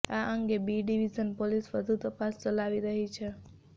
આ અંગે B division police વધુ તપાસ ચલાવી રહી છે